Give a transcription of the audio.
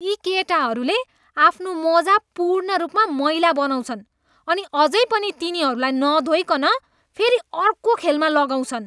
यी केटाहरूले आफ्नो मोजा पूर्ण रूपमा मैला बनाउँछन् अनि अझै पनि तिनीहरूलाई नधोइकन फेरि अर्को खेलमा लगाउँछन्।